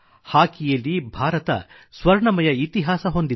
ಹಾಕಿಯಲ್ಲಿ ಭಾರತ ಸ್ವರ್ಣಮಯ ಇತಿಹಾಸ ಹೊಂದಿದೆ